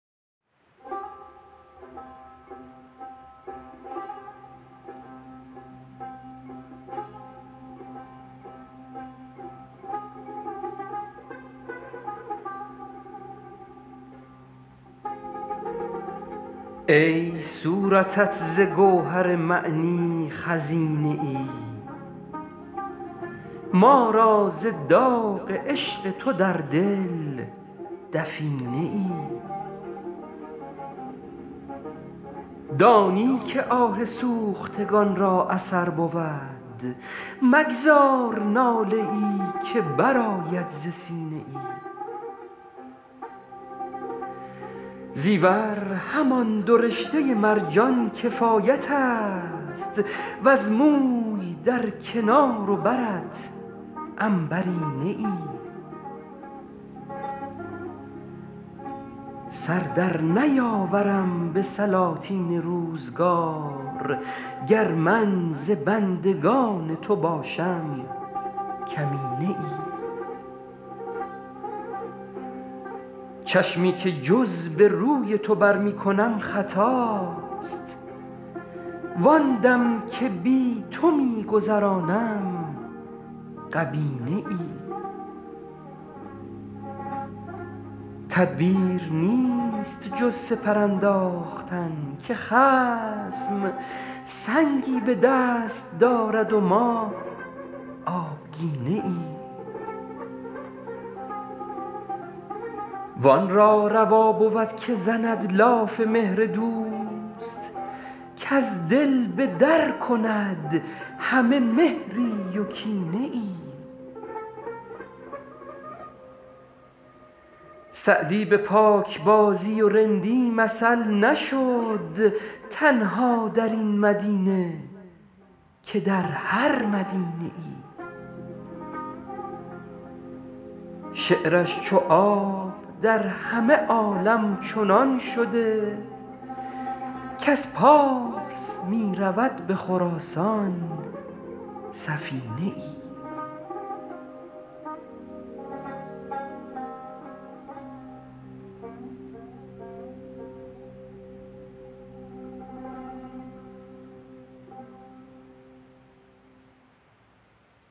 ای صورتت ز گوهر معنی خزینه ای ما را ز داغ عشق تو در دل دفینه ای دانی که آه سوختگان را اثر بود مگذار ناله ای که برآید ز سینه ای زیور همان دو رشته مرجان کفایت است وز موی در کنار و برت عنبرینه ای سر در نیاورم به سلاطین روزگار گر من ز بندگان تو باشم کمینه ای چشمی که جز به روی تو بر می کنم خطاست وآن دم که بی تو می گذرانم غبینه ای تدبیر نیست جز سپر انداختن که خصم سنگی به دست دارد و ما آبگینه ای وآن را روا بود که زند لاف مهر دوست کز دل به در کند همه مهری و کینه ای سعدی به پاکبازی و رندی مثل نشد تنها در این مدینه که در هر مدینه ای شعرش چو آب در همه عالم چنان شده کز پارس می رود به خراسان سفینه ای